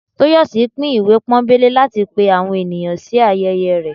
Toyòsí pín ìwé pónbelé latí pẹ àwọn enìyan sí ayẹyẹ rẹ